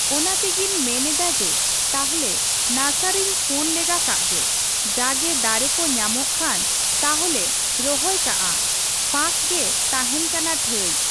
ᱚᱱᱟ ᱛᱮᱜᱤᱧ ᱢᱮᱱ ᱮᱫᱟ ᱡᱮ, ᱛᱟᱦᱚᱞᱮ ᱱᱟᱨᱥᱟᱨᱤᱧ ᱯᱷᱳᱱ ᱞᱮᱜᱟ ᱠᱟᱜ ᱜᱮ, ᱡᱟ ᱜᱮ ᱫᱟᱨᱮ ᱠᱚ ᱧᱟᱢᱚᱜ ᱠᱷᱟᱱ, ᱛᱟᱞᱦᱮᱧ ᱨᱚᱦᱚᱭ ᱠᱟᱜᱼᱟ ᱾ ᱯᱷᱟᱠ ᱜᱮ ᱛᱟᱦᱮᱱ ᱠᱟᱱᱟ ᱴᱷᱟᱺᱭ ᱾